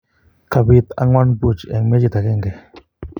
kapet angwan ,puch en mechit akenge